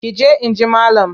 Ki je in ji malam!